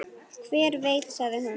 Hver veit sagði hún.